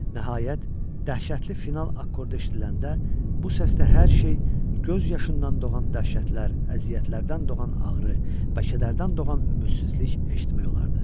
Nəhayət dəhşətli final akkordu eşidiləndə bu səsdə hər şey göz yaşından doğan dəhşətlər, əziyyətlərdən doğan ağrı və kədərdən doğan ümidsizlik eşitmək olardı.